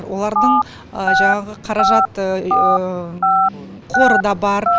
олардың жаңағы қаражат қоры да бар